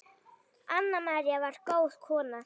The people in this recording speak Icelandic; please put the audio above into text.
Anna María var góð kona.